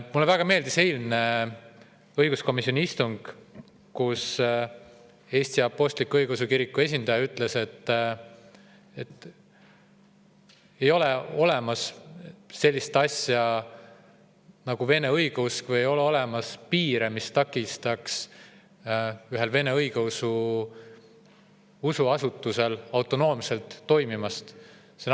Mulle väga meeldis eilne õiguskomisjoni istung, kus Eesti Apostlik-Õigeusu Kiriku esindaja ütles, et ei ole olemas sellist asja nagu Vene õigeusk või ei ole olemas piire, mis takistaks ühel vene õigeusu usuasutusel autonoomselt toimimast.